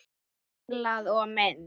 Tenglar og mynd